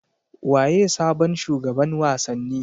Waye sabon shugaban wasanni